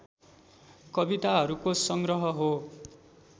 कविताहरूको सङ्ग्रह हो